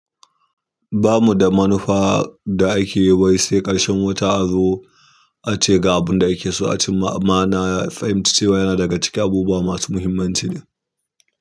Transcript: Ba mu da manufa da ake yi wai sai ƙarshen wata azo ace ga abin da ake so a cimma amma na fahimci cewa yana daga cikin abubuwa masu muhimmanci ɗin.